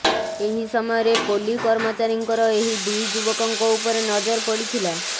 ଏହି ସମୟରେ ପୋଲି କର୍ମଚାରୀଙ୍କର ଏହି ଦୁଇ ଯୁବକଙ୍କ ଉପରେ ନଜର ପଡ଼ିଥିଲା